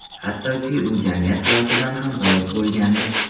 Hattoki u jamiyat hayotidan ham g‘oyib bo‘lgandi.